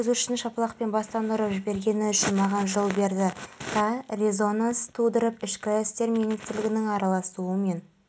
басқаруды да қолға аламыз ол үшін сервистік модель мен мемлекеттік жеке меншік әріптестік жүйелері қолданылады